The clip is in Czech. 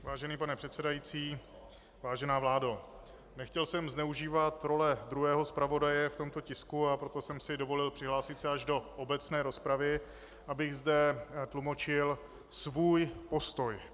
Vážený pane předsedající, vážená vládo, nechtěl jsem zneužívat role druhého zpravodaje v tomto tisku, a proto jsem si dovolil přihlásit se až do obecné rozpravy, abych zde tlumočil svůj postoj.